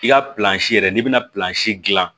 I ka yɛrɛ n'i bɛna dilan